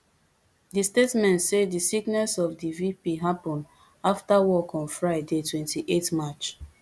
di statement say di sickness of di vp happun afta work on friday twenty-eight march